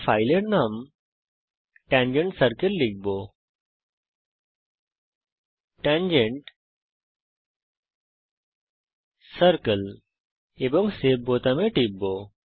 আমি ফাইলের নাম tangent সার্কেল লিখব এবং সেভ বাটনে টিপব